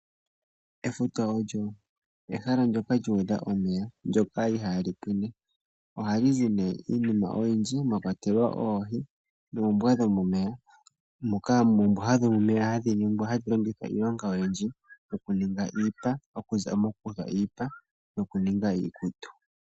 Efuta olyo ehala ndyoka lyu udha omeya , ndyoka ihaa li pwine. Ohali zi iinima oyindji mwa kwatelwa oohi noombwa dhomomeya. Oombwa dhomomeya ohadhi longithwa okuninga iipa.